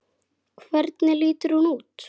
Hvernig lítur hún út?